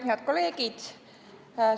Head kolleegid!